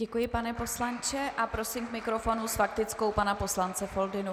Děkuji, pane poslanče, a prosím k mikrofonu s faktickou pana poslance Foldynu.